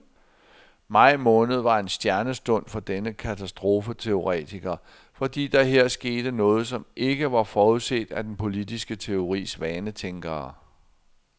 Maj måned var en stjernestund for denne katastrofeteoretiker, fordi der her skete noget, som ikke var forudset af den politiske teoris vanetænkere.